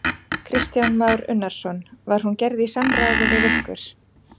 Kristján Már Unnarsson: Var hún gerð í samráði við ykkur?